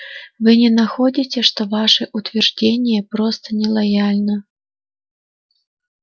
вы не находите что ваше утверждение просто нелояльно